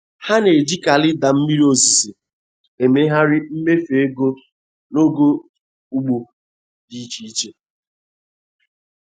Ha na-eji kalenda mmiri ozuzo emegharị mmefu ego n’oge ugbo di iche iche.